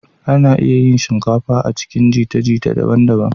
Ana iya yin shinkafa a cikin jita-jita daban-daban.